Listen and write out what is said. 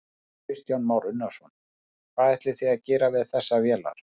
Kristján Már Unnarsson: Hvað ætlið þið að gera við þessar vélar?